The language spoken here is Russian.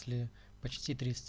почти